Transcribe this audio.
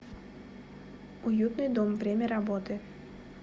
уютный дом время работы